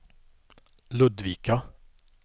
Ludvika